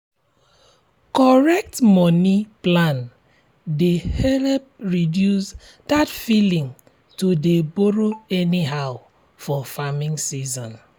correct moni plan dey help reduce that feeling to dey borrow anyhow for farming season.